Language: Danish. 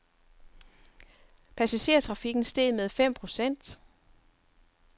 Passagertrafikken steg med fem procent.